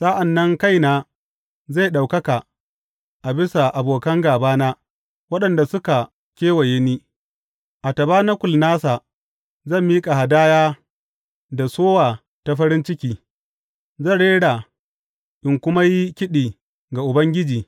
Sa’an nan kaina zai ɗaukaka a bisa abokan gābana waɗanda suka kewaye ni; a tabanakul nasa zan miƙa hadaya da sowa ta farin ciki; zan rera in kuma yi kiɗi ga Ubangiji.